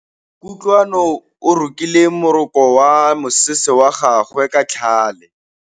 Kutlwanô o rokile morokô wa mosese wa gagwe ka tlhale.